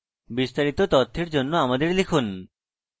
বিস্তারিত তথ্যের জন্য আমাদের লিখুন